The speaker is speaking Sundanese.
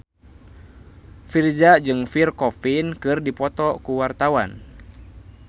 Virzha jeung Pierre Coffin keur dipoto ku wartawan